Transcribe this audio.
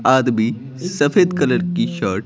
आदमी सफेद कलर की शर्ट --